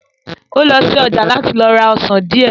Ó lọ sí ọjà láti lọ ra ọsàn díẹ̀